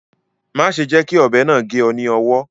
Má ṣe jẹ́ kí ọ̀bẹ náà gé ọ ní owọ́